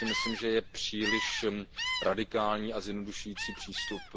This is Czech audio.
To si myslím, že je příliš radikální a zjednodušující přístup.